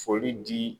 Foli di